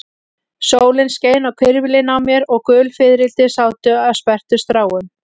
Sólin skein á hvirfilinn á mér og gul fiðrildi sátu á sperrtum stráum.